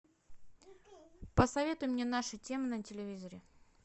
посоветуй мне нашу тему на телевизоре